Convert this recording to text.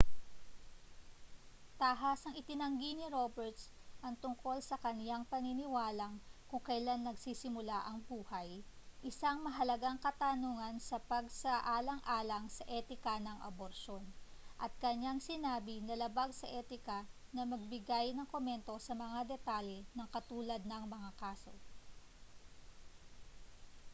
tahasang itinanggi ni roberts ang tungkol sa kaniyang pinaniniwalaang kung kailan nagsisimula ang buhay isang mahalagang katanungan sa pagsaalang-alang sa etika ng aborsyon at kaniyang sinabi na labag sa etika na magbigay ng komento sa mga detalye ng katulad na mga kaso